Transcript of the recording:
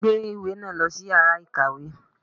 Mu ìwé náà lòsí iyàrá ìkàwé!